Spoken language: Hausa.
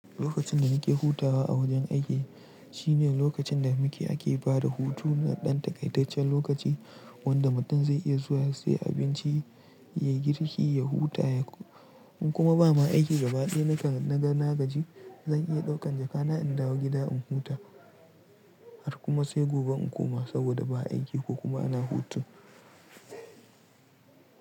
Lokacin da muke hutawa a wajen aiki shine lokacin da muke ake bada hutu na ɗan takaitaccen lokaci wanda mutum zai iya zuwa ya siya abinci, ya yi girki, ya huta ya, in kuma ba ma aiki gabaɗaya. Nakan na nagaji zan iya ɗaukan jakana in dawo gida in huta har kuma sai gobe in koma saboda ba aiki ko kuma ana hutu.